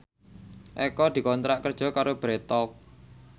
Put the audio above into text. Eko dikontrak kerja karo Bread Talk